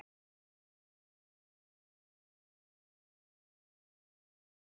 Kláðinn getur orðið mikill og húðin roðnað og bólgnað þegar viðkomandi klórar sér.